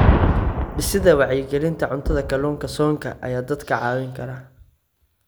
Dhisidda Wacyigelinta Cuntada Kalluunka Soonka ayaa dadka caawin kara.